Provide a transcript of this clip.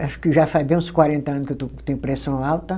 Acho que já faz bem uns quarenta ano que eu estou, que eu tenho pressão alta.